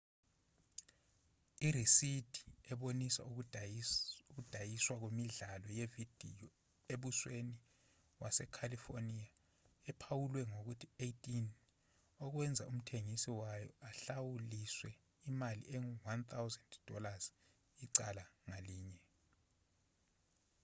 irisidi ebonisa ukudayiswa kwemidlalo yevidiyo embusweni wase-california ephawulwe ngokuthi 18”okwenza umthengisi wayo ahlawuliswe imali engu-$1000 icala ngalinye